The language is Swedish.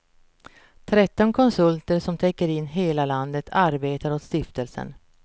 Tretton konsulter som täcker in hela landet arbetar åt stiftelsen.